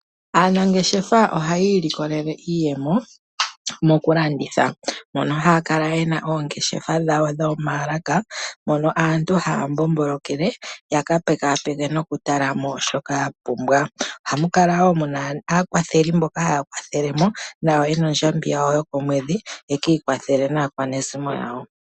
Aanangeshefa ohaya ilikolele iiyemo mokulanditha. Mono haya kala yena oongeshefa dhawo dhomaalaka mono aantu haya mbombolokele ya kapekapeke nokutala mo shoka ya pumbwa. Ohamu kala wo muna aakwatheli mboka haya kwathele mo nayo yena ondjambi yawo yokomwedhi ye kiikwathele naakwanezimo yawo.